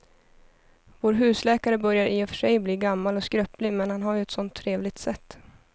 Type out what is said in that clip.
Vår husläkare börjar i och för sig bli gammal och skröplig, men han har ju ett sådant trevligt sätt!